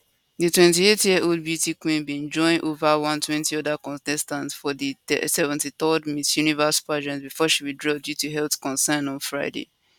di 28yearold beauty queen bin join over120 oda contestants for di 73rd miss universe pageant before she withdraw due to health concerns on friday